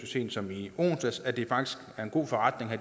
sent som i onsdags at det faktisk er en god forretning at